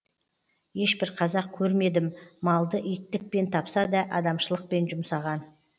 ешбір қазақ көрмедім малды иттікпен тапса да адамшылықпен жұмсаған